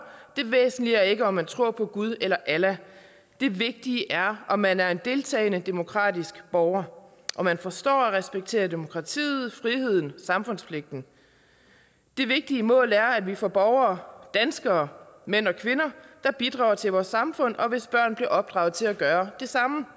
det væsentlige er ikke om man tror på gud eller allah det vigtige er om man er en deltagende demokratisk borger om man forstår og respekterer demokratiet friheden samfundspligten det vigtige mål er at vi får borgere danskere mænd og kvinder der bidrager til vores samfund og hvis børn bliver opdraget til at gøre det samme